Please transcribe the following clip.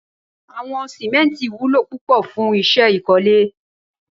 Awọn símẹ̀ntí wùló púpọ̀ fùn iṣẹ ikọ̀lé